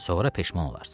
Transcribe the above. Sonra peşman olarsan.